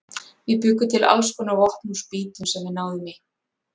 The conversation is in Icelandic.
Við bjuggum til alls konar vopn úr spýtum sem við náðum í.